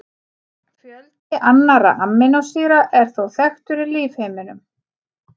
Fjöldi annarra amínósýra er þó þekktur í lífheiminum.